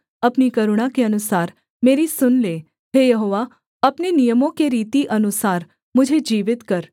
अपनी करुणा के अनुसार मेरी सुन ले हे यहोवा अपनी नियमों के रीति अनुसार मुझे जीवित कर